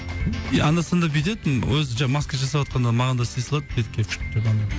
и анда санда бүйтетін өзі ж маска жасаватқанда маған да істей салады бетке